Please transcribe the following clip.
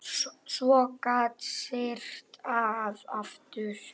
Svo gat syrt að aftur.